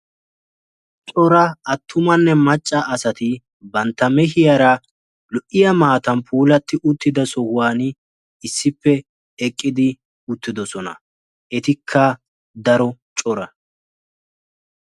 Cora attumanne macca asati bantta meehiyaara lo''iya maatan puulati uttida sohuwa issippe eqqidi uttidoosona. Etikka daro cora.